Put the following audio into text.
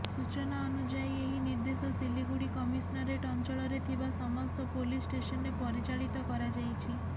ସୂଚନା ଅନୁଯାୟୀ ଏହି ନିର୍ଦ୍ଦେଶ ସିଲିଗୁଡ଼ି କମିଶନରେଟ ଅଞ୍ଚଳରେ ଥିବା ସମସ୍ତ ପୋଲିସ ଷ୍ଟେସନରେ ପରିଚାଳିତ କରାଯାଇଛି